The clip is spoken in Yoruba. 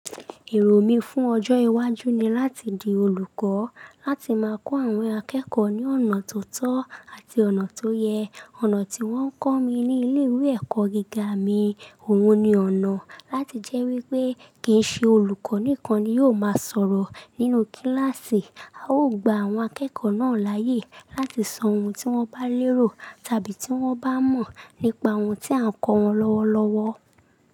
Èrò mi fún ọjọ́ iwájú ni láti di olùkọ́, láti máa kọ́ àwọn akẹ́kọ̀ọ́ ní ọ̀nà tó tọ́ àti ọ̀nà tó yẹ. Ọ̀nà tí wọ́n kọ́ mi ní ilé ìwé ẹ̀kọ́ gíga mi, òun ni ọ̀nà. Láti jẹ́ wí pé kì í ṣe olùkọ́ nìkan ni yóò máa sọ̀rọ̀ nínú kíláàsì, a ó gba àwọn akẹ́kọ̀ọ́ náà láyè láti sọ ohun tí wọ́n bá lérò tàbí tí wọ́n bá mọ̀ nípa ohun tí à ń kọ́ wọn lọ́wọ́lọ́wọ́.